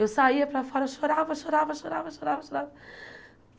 Eu saía para fora, eu chorava, chorava, chorava, chorava, chorava.